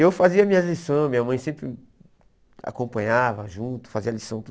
Eu fazia minhas lições, minha mãe sempre acompanhava, junto, fazia lição, tudo.